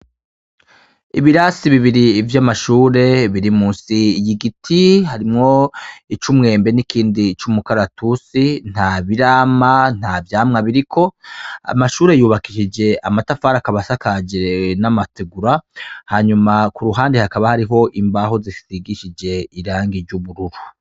Ibirasi bibiri vy' amashure biri musi y'igiti harimwo ic'umwembe n'ikindi c'umukaratusi nta birama, nta vyamwa biriko amashure yubakishije amatafari akaba asakaje n'amategura hanyuma ku ruhande hakaba hariho imbaho zisigishije irangi ry'ubururu.